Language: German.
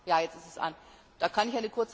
Da kann ich eine kurze Antwort geben.